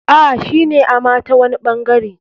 A,shine ama tawani ɓangare.